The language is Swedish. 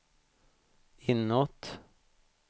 inåt